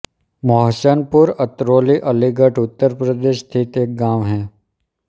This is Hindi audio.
मोहसनपुर अतरौली अलीगढ़ उत्तर प्रदेश स्थित एक गाँव है